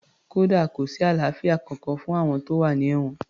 Kódà kò sí àlàáfíà kankan fún àwọn tó wà ní èwọ̀n